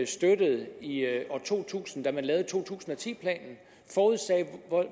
støttede i to tusind da man lavede to tusind og ti planen forudsagde